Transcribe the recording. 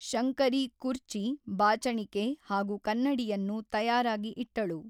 ಶಂಕರಿ ಕುರ್ಚಿ, ಬಾಚಣಿಕೆ ಹಾಗೂ ಕನ್ನಡಿಯನ್ನು ತಯಾರಾಗಿ ಇಟ್ಟಳು.